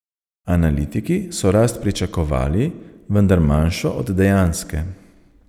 Analitiki so rast pričakovali, vendar manjšo od dejanske.